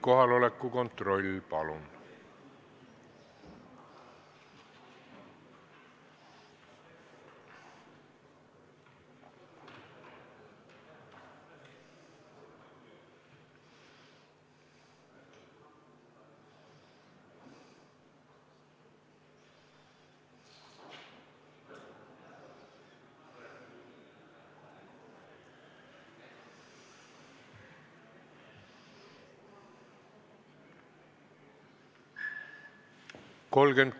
Kohaloleku kontroll, palun!